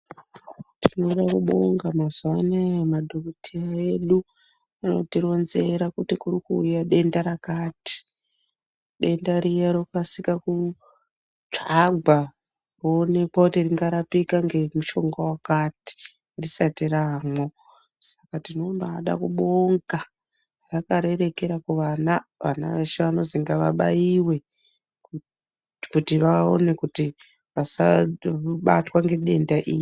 Tinoda kubonga mazuva anaya madhogodheya edu anotironzera kuti kurikuuya denda rakati. Dendariya rokasika kutsvagwa kuoneka kuti rinorapika ngemushonga vakati risati raamwo. Saka tinombada kubonga rakarerekera kuvana vana veshe vanonzi ngavabaive kuti vaone kuti vasabatwa ngedenda iri.